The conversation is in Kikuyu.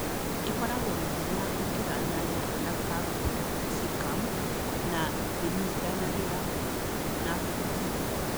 Ĩkoragwo na hinya gũkĩra nyanya na capsicum na ndĩnyitanagĩra na heho.